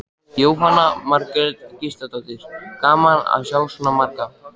Jóhanna Margrét Gísladóttir: Gaman að sjá svona marga?